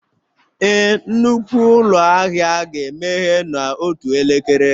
Ee, nnukwu ụlọ ahịa ga-emeghe n'otu elekere